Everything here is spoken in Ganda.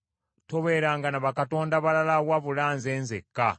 “Tobeeranga na bakatonda balala wabula Nze nzekka.